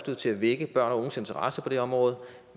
til at vække børn og unges interesse på det område